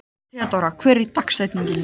Theódóra, hver er dagsetningin í dag?